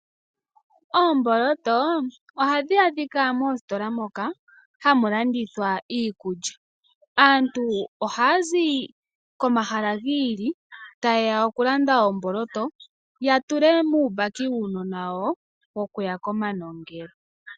Oomboloto ohadhi adhika moositola moka hamu landithwa iikulya. Aantu ohaa zi komahala giili taye ya okulanda omboloto ya tule muumbaki wuunona wawo wokuya komanongelo.